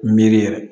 Miiri yɛrɛ